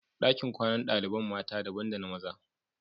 Dakin kwanan dalibain mata daban da na maza.